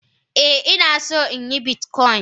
Eh inason yin bitcoin.